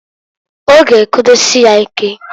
Ọ ga ekedosie nya ike.